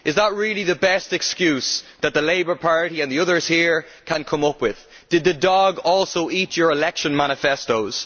Is that really the best excuse that the Labour Party and the others here can come up with? Did the dog also eat your election manifestos?